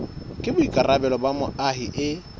ke boikarabelo ba moahi e